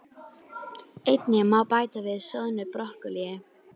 Einnig má bæta við soðnu brokkólíi.